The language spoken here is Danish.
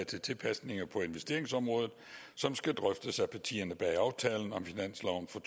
til tilpasninger på investeringsområdet som skal drøftes af partierne bag aftalen om finansloven for